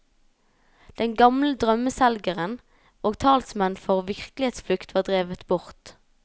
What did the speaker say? De gamle drømmeselgerne og talsmenn for virkelighetsflukt var drevet bort.